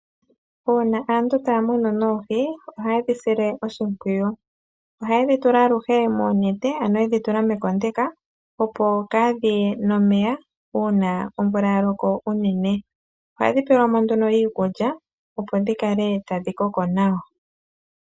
Uuna aantu taya muna noohi ohaye dhi sile oshimpwiyu ohaye dhi tula alushe moonete ano yedhi tula mekondeka opo kaadhiye nomeya uuna omvula yaloko uunene. Ohadhi pewelwamo nduno iikulya opo dhikale tadhi koko nawa.